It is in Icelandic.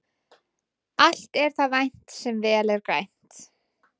Allt er það vænt sem vel er grænt.